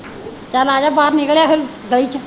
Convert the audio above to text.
ਚਲ ਆਜਾ ਬਾਹਰ ਨਿਕਲਿਆ ਫਿਰ ਗਲੀ ਚ।